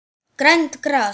Grænt gras.